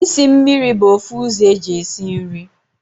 Isi mmiri bu ofu uzo eji esi nri